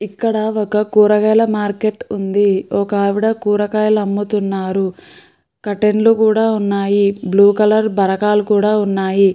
ఇక్కడ ఒక కూరగాయల మార్కెట్ ఉంది. ఒక ఆవిడ కూరగాయల అమ్ముతున్నారు. కర్టెన్లు కూడా ఉన్నాయి. బ్లూ కలర్ బరకాలు కూడా ఉన్నాయి.